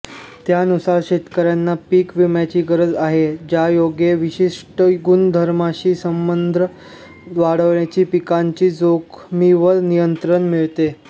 त्यानुसार शेतकर्यांना पीक विम्याची गरज आहे ज्यायोगे विशिष्ट गुणधर्माशी संबद्ध वाढीच्या पिकांच्या जोखमीवर नियंत्रण मिळते